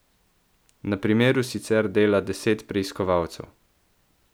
Na primeru sicer dela deset preiskovalcev.